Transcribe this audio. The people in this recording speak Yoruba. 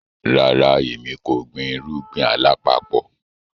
Ràrà, ẹ̀mi kò gbìn irugbin alapapọ̀.